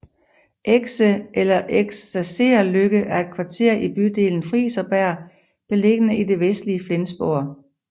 Exe eller Eksercerløkke er et kvarter i bydelen Friserbjerg beliggende i det vestlige Flensborg